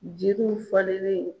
Jiriw falenlen